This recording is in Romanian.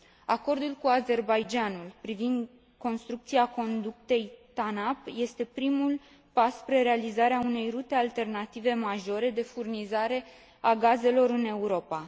Acordul cu Azerbaidjan ul privind construcția conductei TANAP este primul pas spre realizarea unei rute alternative majore, de furnizare a gazelor în Europa.